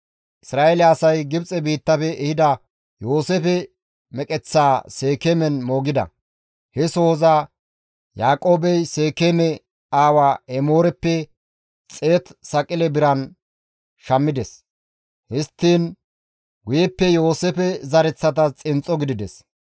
Isra7eele asay Gibxe biittafe ehida Yooseefe meqeththaa Seekeemen moogida. He sohoza Yaaqoobey Seekeeme aawa Emooreppe 100 saqile biran shammides; histtiin guyeppe Yooseefe zereththatas xinxxo gidides.